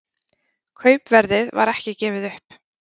Kaupverðið var ekki gefið upp